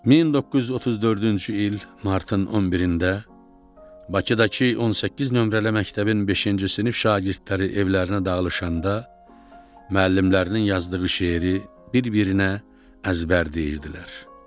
1934-cü il martın 11-də Bakıdakı 18 nömrəli məktəbin beşinci sinif şagirdləri evlərinə dağılışanda müəllimlərinin yazdığı şeiri bir-birinə əzbərləyirdilər.